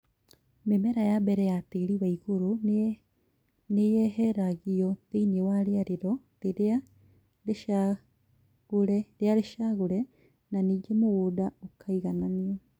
Mĩmera ya mbere na tĩri wa igũrũ nĩyeheragio thĩinĩ wa rĩarĩro rĩrĩa rĩcagũre na nĩngĩ mũgũnda ũkaigananio